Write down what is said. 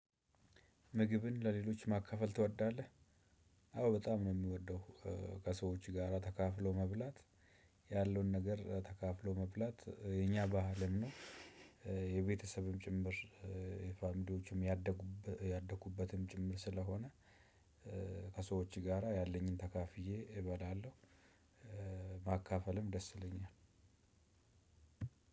ምግብን ለሌሎች ማካፈል ትወዳለህ? አዎ በጣም ነው የምወደው። ከሰዎች ጋራ ተካፍሎ መብላት። ያለውን ነገር ተካፍሎ መብላት የኛ ባህልም ነው። የቤተሰብም ጭምር የፋሚሊወችም ያደኩ ያደኩበትም ጭምር ስለሆነ። ከሰዎች ጋራ ያለኝን ተካፍዬ እበላለሁ። ማካፈልም ደስ ይለኛል።